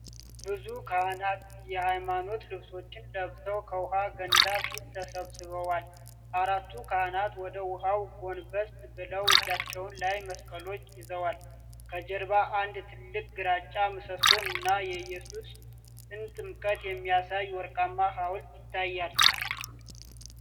ብዙ ካህናት የሃይማኖት ልብሶችን ለብሰው ከውሃ ገንዳ ፊት ተሰብስበዋል። አራቱ ካህናት ወደ ውሃው ጎንበስ ብለው እጃቸው ላይ መስቀሎችን ይዘዋል። ከጀርባ አንድ ትልቅ ግራጫ ምሰሶ እና የኢየሱስን ጥምቀት የሚያሳይ ወርቃማ ሐውልት ይታያል።